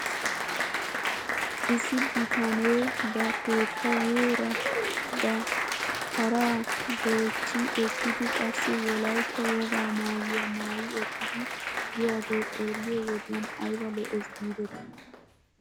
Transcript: Issi bitanee ba keettaayeera ba paraa goochchi ekkidi qassi wolaytta wogaa maayuwaa maayi ekkidi biyaagee xeelliyoo wodiyan ayba lo'ees giidetii!